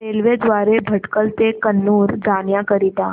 railway द्वारे भटकळ ते कन्नूर जाण्या करीता